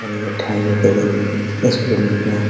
ठंड के दिन इस फील्ड में --